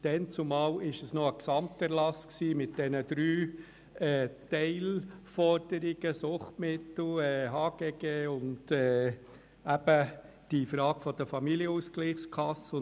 – Damals handelte es sich um einen Gesamterlass mit den drei Teilforderungen Suchtmittel, Gesetz über Handel und Gewerbe (HGG) und Familienausgleichskassen.